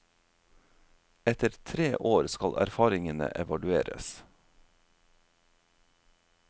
Etter tre år skal erfaringene evalueres.